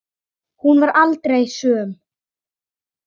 Hún varð aldrei söm.